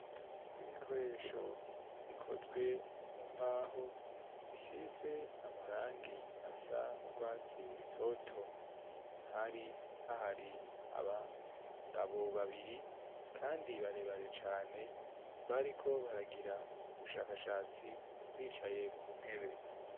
Ibikoresho bikozwe mu mbaho, bisize amarangi asa n'urwatsi rutoto, hari hahari abagabo babiri kandi barebare cane bariko baragira ubushakashatsi bicaye ku ntebe.